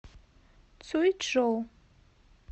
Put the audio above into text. цюйчжоу